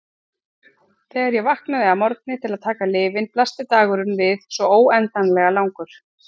Þegar ég vaknaði að morgni til að taka lyfin blasti dagurinn við svo óendanlega langur.